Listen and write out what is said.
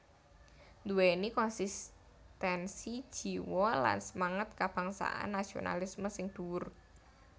Nduwèni konsistensi jiwa lan semangat kabangsan nasionalisme sing dhuwur